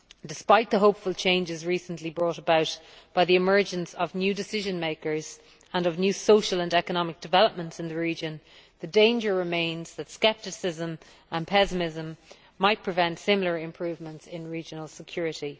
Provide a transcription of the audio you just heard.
Despite the hopeful changes recently brought about by the emergence of new decision makers and of new social and economic developments in the region, the danger remains that scepticism and pessimism might prevent similar improvements in regional security.